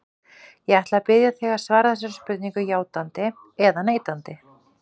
Ég ætla að biðja þig að svara þessari spurningu játandi eða neitandi.